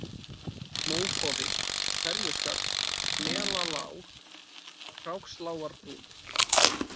Mókofi, Ferjuskarð, Melalág, Krákslágarbrún